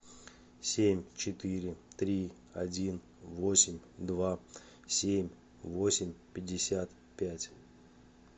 семь четыре три один восемь два семь восемь пятьдесят пять